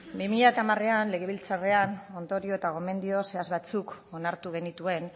bi mila hamarean legebiltzarrean ondorio eta gomendio zehatz batzuk onartu genituen